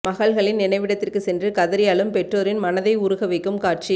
மகள்களின் நினைவிடத்திற்கு சென்று கதறி அழும் பெற்றோரின் மனதை உருகவைக்கும் காட்சி